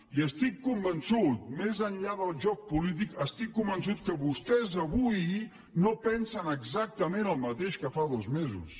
i estic convençut més enllà del joc polític n’estic convençut que vostès avui no pensen exactament el mateix que fa dos mesos